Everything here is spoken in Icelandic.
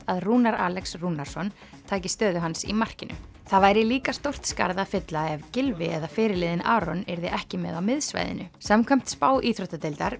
að Rúnar Alex Rúnarsson taki stöðu hans í markinu það væri líka stórt skarð að fylla ef Gylfi eða fyrirliðinn Aron yrði ekki með á miðsvæðinu samkvæmt spá íþróttadeildar